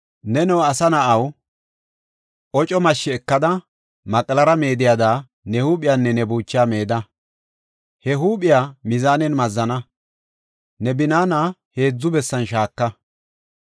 “Neno, asa na7aw, oco mashshi ekada, maqlara meediyada ne huuphiyanne ne buuchaa meeda. He huuphiya mizaanen mazzana; ne binaana heedzu bessan shaaka.